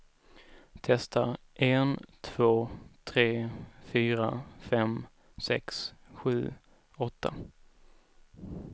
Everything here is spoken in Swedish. Testar en två tre fyra fem sex sju åtta.